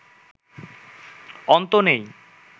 অন্ত নেই